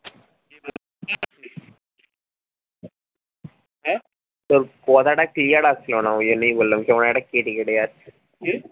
তোর কথা টা clear আসলো না ওই জন্যই বললাম কেমন একটা কেটে কেটে যাচ্ছে। কি?